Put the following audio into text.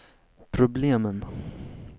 problemen